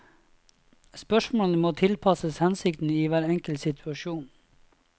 Spørsmålene må tilpasses hensikten i hver enkelt situasjon.